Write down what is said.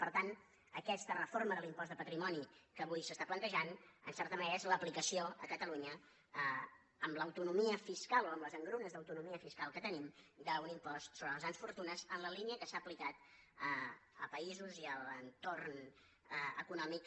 per tant aquesta reforma de l’impost de patrimoni que avui es planteja en certa manera és l’aplicació a catalunya amb l’autonomia fiscal o amb les engrunes d’autonomia fiscal que tenim d’un impost sobre les grans fortunes en la línia que s’ha aplicat a països i a l’entorn econòmic